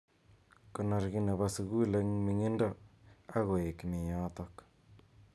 Konor ki nebo sukul eng ming'indo ak koek mi yotok.